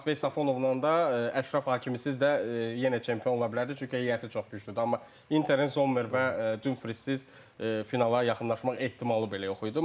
Həm Martveya Səfənovla da, Əşrəf Hakimisiz də yenə çempion ola bilərdi, çünki heyəti çox güclüdür, amma Interin Zommer və Dumfriesiz finala yaxınlaşmaq ehtimalı belə yox idi.